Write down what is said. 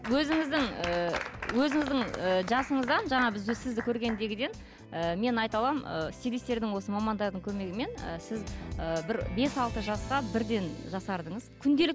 өзіңіздің і өзіңіздің і жасыңыздан жаңа біз сізді көргендегіден і мен айта аламын ы стилистердің осы мамандардың көмегімен і сіз ы бір бес алты жасқа бірден жасардыңыз